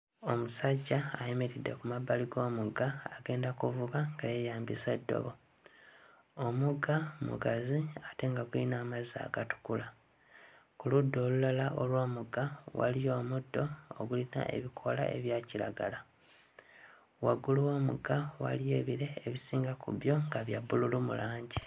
Omusajja ayimiridde ku mabbali g'omugga agenda kuvuba nga yeeyambisa ddobo. Omugga mugazi ate nga guyina amazzi agatukula. Ku ludda olulala olw'omugga waliwo omuddo ogulina ebikoola ebya kiragala. Waggulu w'omugga waliwo ebire ebisinga ku byo nga bya bbululu mu langi.